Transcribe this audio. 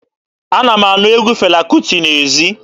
Ana m anụ egwu Fela Kuti n'ezi.